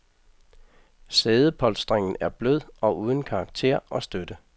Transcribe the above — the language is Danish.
Sædepolstringen er blød og uden karakter og støtte.